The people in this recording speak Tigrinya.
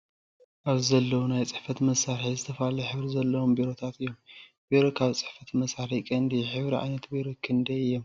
ኣብዚ ዘለውናይ ፅሕፈት መሳሪሒ ዝተፈላለዩ ሕብሪ ዘለዎም ቢሮታት እዮም ።ቢሮ ካብ ፅሕፈት መሳሪሒ ቀንዲ እዩ። ሕብሪ ዓይነታት ቢሮ ክንዳይ እዮም።